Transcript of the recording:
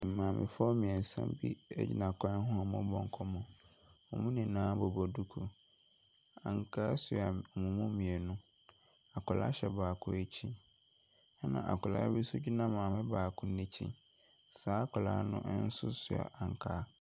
Maamefoɔ mmiɛnsa bi egyina kwan ho a wɔrebɔ nkɔmmɔ. Wɔn nyinaa bobɔ duku. Ankaa sua wɔn mu mmienu. Akwadaa hyɛ baako ɛkyi. Ɛna akwadaa bi nso gyina maame baako no ɛkyi. Saa akwadaa nonso sua ankaa.